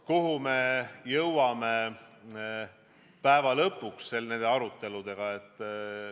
Kuhu me lõpuks nende aruteludega jõuame?